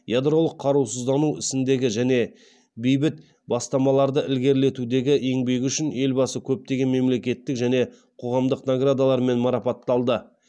ядролық қарусыздану ісіндегі және бейбіт бастамаларды ілгерілетудегі еңбегі үшін елбасы көптеген мемлекеттік және қоғамдық наградалармен марапатталды